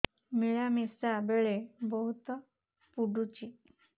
ମିଳାମିଶା ବେଳେ ବହୁତ ପୁଡୁଚି